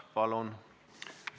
Palun!